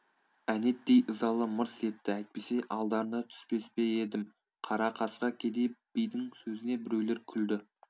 әнетей ызалы мырс етті әйтпесе алдарына түспес пе едім қара қасқа кедей бидің сөзіне біреулер күлді